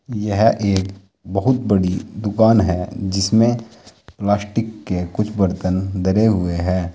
यह एक बहुत बड़ी दुकान है जिसमें प्लास्टिक के कुछ बर्तन धरे हुए हैं।